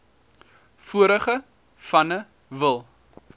vorige vanne wil